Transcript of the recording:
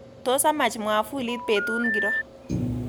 Tos amach mwafulit betut ngiro